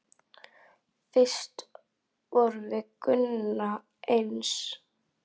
Fyrst vorum við Gunna eins.